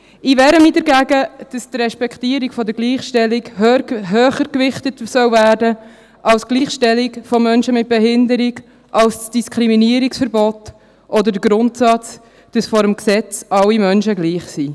Ich wehre mich dagegen, dass die Respektierung der Gleichstellung höher gewichtet werden soll als die Gleichstellung von Menschen mit Behinderung, als das Diskriminierungsverbot oder der Grundsatz, dass vor dem Gesetz alle Menschen gleich sind.